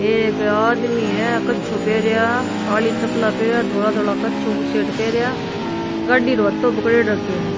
एक आदमी है कच्छो पहरिया काली चप्पला पेहरिया धोला धोला कच्छो बुसेट पेहरिया गाड़ी रो हत्थों पकड़ रखयो है।